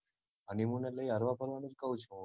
honeymoon એટલે ઈ હરવા ફરવાનું જ કૌ છુ